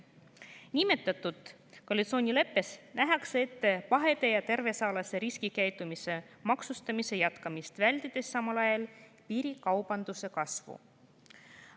Nimetatud koalitsioonileppes nähakse ette pahede ja tervisealase riskikäitumise maksustamise jätkamist, vältides samal ajal piirikaubanduse kasvu.